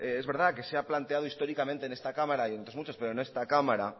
es verdad que se ha planteado históricamente en esta cámara y en otras muchas pero en esta cámara